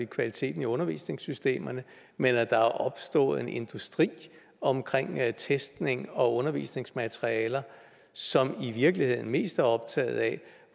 kvaliteten i undervisningssystemerne men at der er opstået en industri omkring testning og undervisningsmaterialer som i virkeligheden mest er optaget af